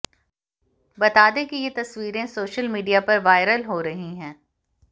बता दें कि ये तस्वीरें सोशल मीडिया पर वायरल हो रही हैं